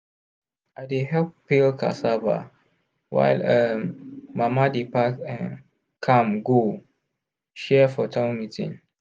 i dey help peel cassava while um mama dey pack um am go share for town meeting.